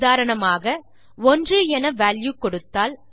உதாரணமாக 1 என வால்யூ கொடுத்தால்